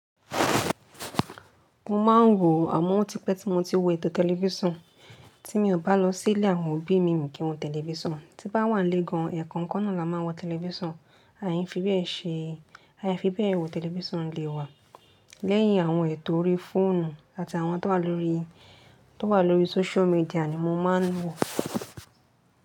Mo máa ń wò àmo òtípe tí mo ti wò ètò tẹlifíṣàn, tí mi ò bá lọ sí ilé àwọn òbí mi, mí kí wọ́n tẹlifíṣàn, tí n bá wà nílé gan, ẹ̀ẹ̀kan kan náà la máa wọ tẹlifíṣàn, a fi bẹ́ẹ̀ ṣe, a fi bẹ́ẹ̀ wò tẹlifíṣàn nílé wa. Lẹ́yìn àwọn ètò orí fóònù àti àwọn tó wà lórí, tó wà lórí social media ni mo máa ń wò.